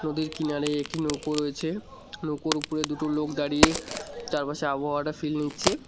নদীর কিনারে একটি নৌকো রয়েছে নৌকোর উপরে দুটো লোক দাঁড়িয়ে চারপাশের আবহাওয়াটা ফিল নিচ্ছে।